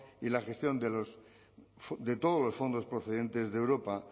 y la gestión de todos fondos procedentes de europa